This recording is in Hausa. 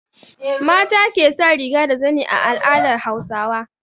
Mata ke sa riga da zani a al'adar Hausawa.